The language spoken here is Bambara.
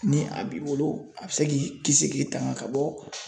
Ni a b'i bolo a bɛ se k'i kisi k'i tanga ka bɔ